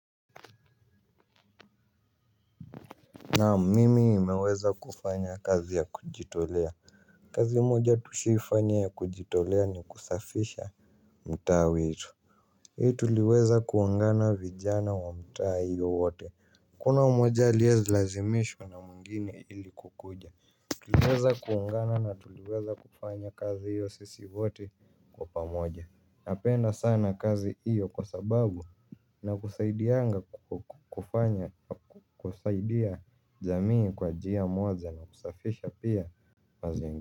Naam mimi nimeweza kufanya kazi ya kujitolea kazi moja tushawahi fanya ya kujitolea ni kusafisha mtaa wetu. Hii tuliweza kuungana vijana wa mta hiyo wote hakuna mmoja aliye lazimishwa na mwingine ili kukuja. Tuliweza kuungana na tuliweza kufanya kazi hiyo sisi wote kwa pamoja. Napenda sana kazi hiyo kwa sababu na kusaidia jamii kwa njia moja na kusafisha pia mazingi.